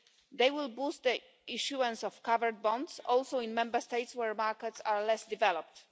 They will boost the issuance of covered bonds also in Member States where markets are less developed.